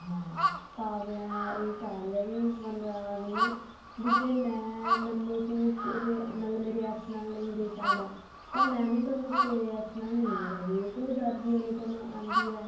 ਹਾਂ ਕਾਵਿਆ ਇਹ ਚਾਹ ਰਹੀ ਹੈ ਵੀ ਵਨਰਾਜ ਨੂੰ ਵੀ ਜੇ ਮੈਂ ਮੈਨੂੰ ਤੂੰ ਕਿਸੇ ਮਤਲਬ ਮੇਰੇ ex ਨਾਲ ਨਹੀ ਦੇਖ ਸਕਦਾ ਤਾਂ ਮੈਂ ਵੀ ਤੈਨੂੰ ਤੇਰੇ ex ਨਹੀ ਦੇਖ ਸਕਦੀ ਕਿਉਂਕਿ ਜਦ ਵੀ ਅਨੁਪਮਾ ਆਉਂਦੀ ਹੈ